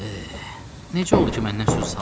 Necə oldu ki məndən sözü saldı?